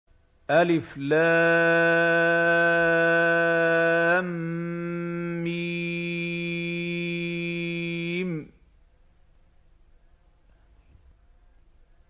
الم